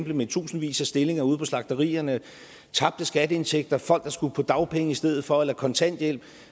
med tusindvis af stillinger ude på slagterierne tabte skatteindtægter folk der skulle på dagpenge i stedet for eller på kontanthjælp